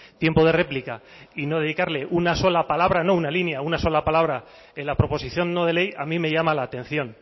tiempo de réplica y no dedicarle una sola palabra no una línea en la proposición no de ley a mí me llama la atención